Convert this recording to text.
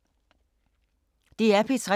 DR P3